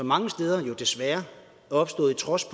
mange steder desværre er opstået i trods